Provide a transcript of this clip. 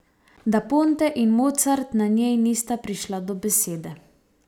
Da Ponte in Mozart na njej nista prišla do besede.